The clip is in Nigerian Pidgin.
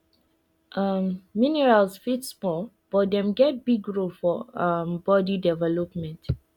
um minerals fit small but dem get big role for um body development